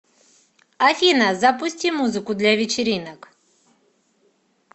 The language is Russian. афина запусти музыку для вечеринок